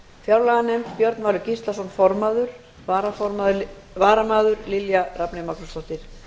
fjárlaganefnd björn valur gíslason formaður varamaður er lilja rafney magnúsdóttir